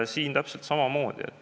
Siin on täpselt samamoodi.